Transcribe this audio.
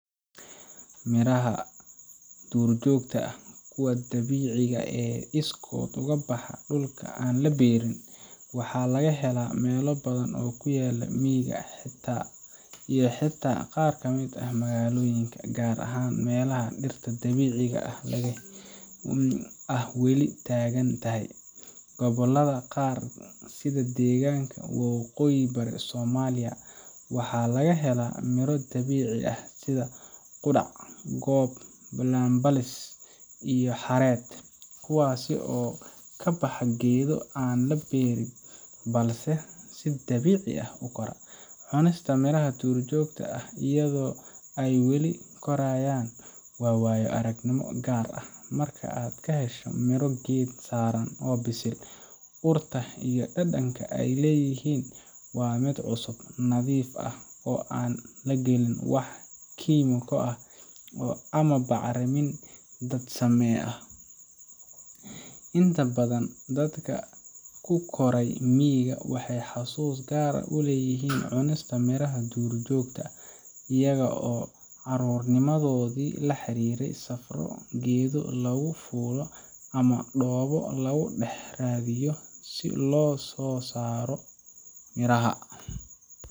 Haa, miraha duurjoogta ah kuwa dabiiciga ah ee si iskood ah uga baxa dhulka aan la beerin waxa laga helaa meelo badan oo ku yaalla miyiga iyo xataa qaar ka mid ah magaalooyinka, gaar ahaan meelaha dhirta dabiiciga ah weli taagan tahay. Gobollada qaar sida degaanka waqooyi bari Soomaaliya, waxaa laga helaa miro dabiici ah sida qudhac, gob, balanbaalis, iyo xareed, kuwaas oo ka baxa geedo aan la beerin balse si dabiici ah u kora. Cunista miraha duurjoogta ah iyadoo ay weli korayaan waa waayo aragnimo gaar ah. Marka aad ka hesho miro geed saaran oo bisil, urta iyo dhadhanka ay leeyihiin waa mid cusub, nadiif ah, oo aan la gelin wax kiimiko ah ama bacrimin dad samee ah. Inta badan dadka ku koray miyiga waxay xasuus gaar ah u leeyihiin cunista miraha duurjoogta ah, iyaga oo carruurnimadoodii la xiriiriya safarro geedo lagu fuulo ama dhoobo lagu dhex raadiyo si loosoo saaro miraha.